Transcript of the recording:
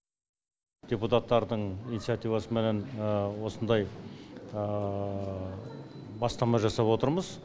депутаттардың инициативасыменен осындай бастама жасап отырмыз